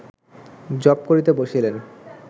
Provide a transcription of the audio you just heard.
জপ করিতে বসিলেন